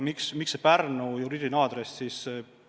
Miks just Pärnu juriidiline aadress?